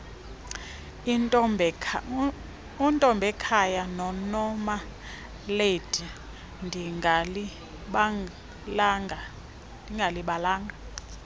untombekhaya nonomalady ndingalibalanga